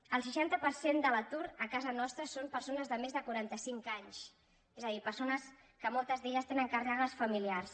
el seixanta per cent de l’atur a casa nostra són persones de més de quaranta cinc anys és a dir persones que moltes d’elles tenen càrregues familiars